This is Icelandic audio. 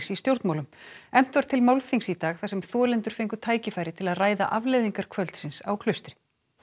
í stjórnmálum efnt var til málþings í dag þar sem þolendur fengu tækifæri til að ræða afleiðingar kvöldsins á Klaustri